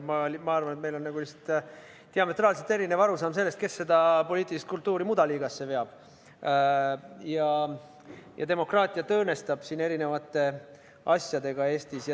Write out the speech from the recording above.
Ma lihtsalt arvan, et meil on diametraalselt erinev arusaam sellest, kes seda poliitilist kultuuri mudaliigasse veab ja demokraatiat siin Eestis erinevate asjadega õõnestab.